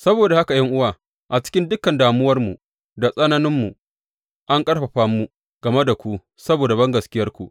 Saboda haka ’yan’uwa, cikin dukan damuwarmu da tsananinmu an ƙarfafa mu game da ku saboda bangaskiyarku.